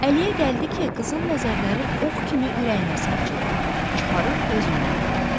Əliyə gəldi ki, qızın nəzərləri ox kimi ürəyinə sancıldı, çıxarıb özü ilə apardı.